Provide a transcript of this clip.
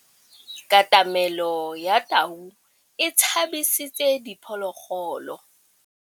Katamêlô ya tau e tshabisitse diphôlôgôlô.